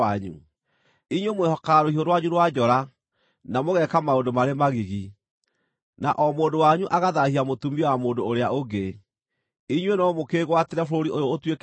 Inyuĩ mwĩhokaga rũhiũ rwanyu rwa njora, na mũgeeka maũndũ marĩ magigi, na o mũndũ wanyu agathaahia mũtumia wa mũndũ ũrĩa ũngĩ. Inyuĩ no mũkĩĩgwatĩre bũrũri ũyũ ũtuĩke wanyu?’